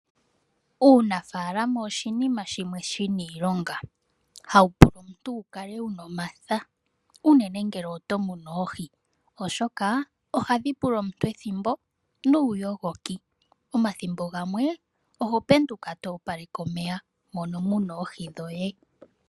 Uunafaalama oshinima shimwe shina oshilonga hawu pula omuntu wu kale wu na omatha uunene ngele oto munu oohi, oshoka ohadhi pula omuntu ethimbo nuuyogoki. Omathimbo gamwe oho penduka to opaleke omeya mono mu na oohi dhoye.